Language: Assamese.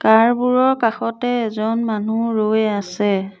কাৰ বোৰৰ কাষতে এজন মানুহ ৰৈ আছে।